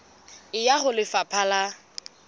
e ya ho lefapha la